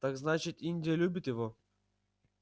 так значит индия любит его